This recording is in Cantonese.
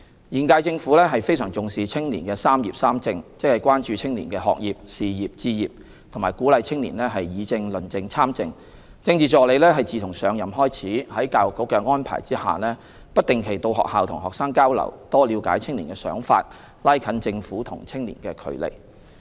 現屆政府非常重視青年"三業、三政"，即關注青年學業、事業、置業，並鼓勵青年議政、論政、參政，政治助理自上任開始，在教育局的安排下，不定期到學校與學生交流，多了解青年的想法，拉近政府與青年的距離。